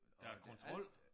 Der er kontrol